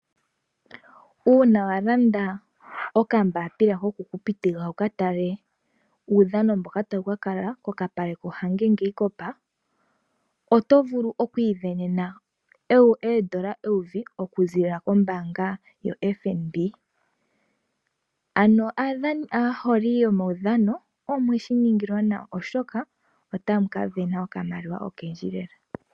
Uuna wa landa okambapila ko ku kupitika wuka tale uudhano mboka tawu ka kala kokapale koHage Geingob, oto vulu oku isindanena oondola eyovi, okuziilila kombaanga yo FNB. Ano aaholi yomaudhano omweshi ningilwa nawa oshoka otamu ka sindana okamaliwa okendji lela.